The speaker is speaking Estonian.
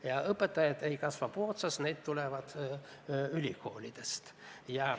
Ja õpetajad ei kasva puu otsas, need tulevad ülikoolidest.